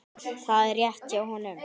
Það er rétt hjá honum.